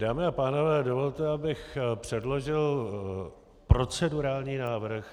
Dámy a pánové, dovolte, abych předložil procedurální návrh.